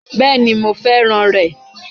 Bẹ́ẹ̀ni mo fẹ́ràn rẹ̀